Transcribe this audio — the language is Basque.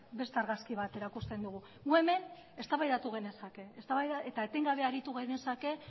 beste argazki bat erakusten digu guk hemen eztabaidatu genezake eta etengabe aritu genezake